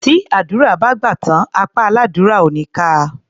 Tí àdúrà bá gbà tán, apá aládúrà ò ní ká a.